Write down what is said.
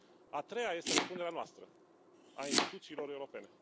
A treia este răspunderea noastră, a instituțiilor europene.